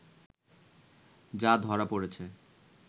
যা ধরা পড়েছে